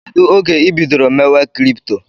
Kedụ oge ibidoro mewe kripto?